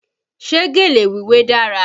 Ṣé gèlè wíwé dára?